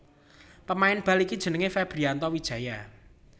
Pemain bal iki jenengé Febrianto Wijaya